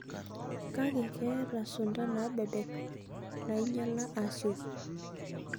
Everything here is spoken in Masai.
Kake, keeta sunta naabebek nainyala asioki.